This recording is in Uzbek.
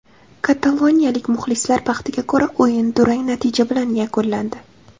Kataloniyalik muxlislar baxtiga ko‘ra, o‘yin durang natija bilan yakunlandi.